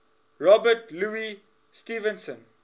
robert louis stevenson